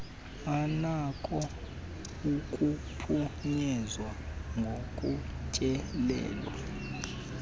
anako ukuphunyezwa ngokutyelelwa